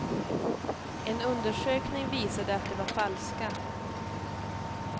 En undersökning visade att de var falska.